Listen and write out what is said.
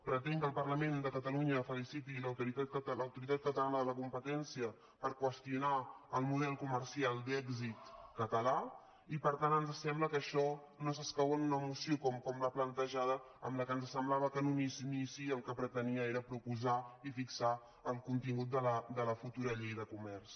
pretén que el parlament de catalunya feliciti l’autoritat catalana de la competència per qüestionar el model comercial d’èxit català i per tant ens sembla que això no escau en una moció com la plantejada en què ens semblava que en un inici el que pretenia era proposar i fixar el contingut de la futura llei de comerç